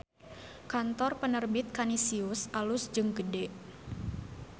Kantor Penerbit Kanisius alus jeung gede